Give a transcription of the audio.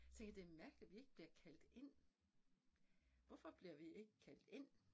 Tænker jeg det mærkeligt vi ikke bliver kaldt ind. Hvorfor bliver vi ikke kaldt ind